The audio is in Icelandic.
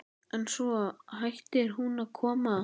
En svo hættir hún að koma.